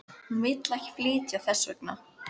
Hún vill ekki flytja þess vegna.